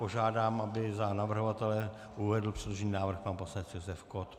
Požádám, aby za navrhovatele uvedl předložený návrh pan poslanec Josef Kott.